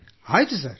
ಆಯ್ತು ಸರ್